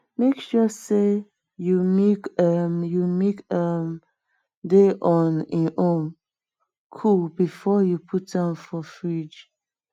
make sure sey you milk um you milk um dey on em own cool before um you put am for fridge